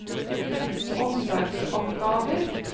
omsorgsoppgaver